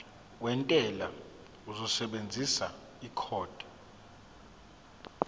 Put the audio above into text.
wentela uzosebenzisa ikhodi